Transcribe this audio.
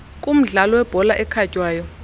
kumdlalo webhola ekhatywayo